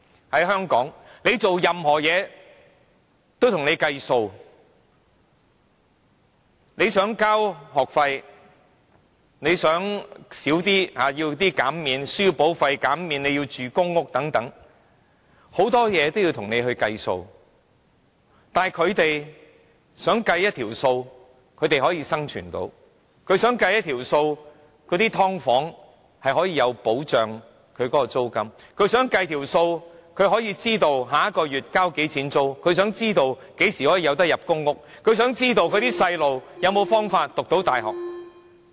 在香港，甚麼也要計數，例如你要繳交學費、要求減免書簿費、入住公屋等，這些都要經過一輪計算，但他們也想找出一條可以讓他們生存的公式，讓他們住在"劏房"也可以有租金保障、讓他們知道下個月要繳交多少租金、讓他們知道何時可以入住公屋、讓他們知道子女有沒有方法可以入讀大學。